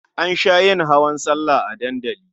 An sha yin hawan sallah a dandali.